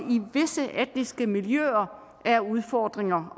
visse etniske miljøer er udfordringer